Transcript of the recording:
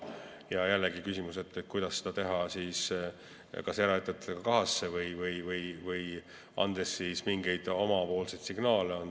Ja jälle on küsimus, kuidas seda teha, kas eraettevõtetega kahasse või andes mingeid omapoolseid signaale.